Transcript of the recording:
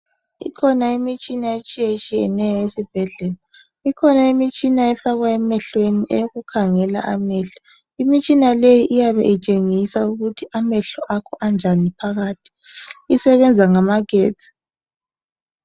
Ikhona imitshina etshiyetshiyeneyo esibhedlela ikhona imitshina efakwa emehlweni eyokukhangela amehlo imitshina leyi iyabe itshengisa ukuthi amehlo akho anjani phakathi isebenza ngamagetsi.